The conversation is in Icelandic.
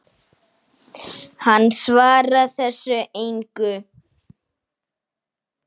Hann svarar þessu engu.